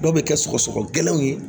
Dɔw bɛ kɛ sɔgɔsɔgɔ gɛlɛnw ye